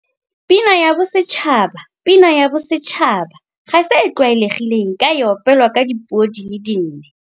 Pina ya Bosetšhaba Pina ya Bosetšhaba ga se e tlwaelegileng ka e opelwa ka dipuo di le nne.